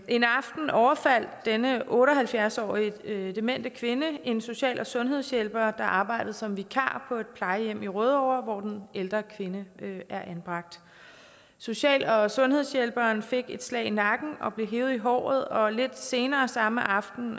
en aften overfaldt denne otte og halvfjerds årige demente kvinde en social og sundhedshjælper der arbejdede som vikar på et plejehjem i rødovre hvor den ældre kvinde er anbragt social og sundhedshjælperen fik et slag i nakken og blev hevet i håret og lidt senere samme aften